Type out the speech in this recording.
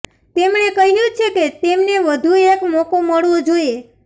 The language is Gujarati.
તેમણે ક્હ્યુ છે કે તેમને વધુ એક મોકો મળવો જોઈએ